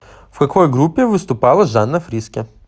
в какой группе выступала жанна фриске